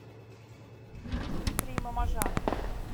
дмитрий мамажанов